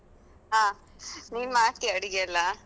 ಹ, ಮಾಡ್ತಿಯಾ ಅಡಿಗೆ ಎಲ್ಲಾ?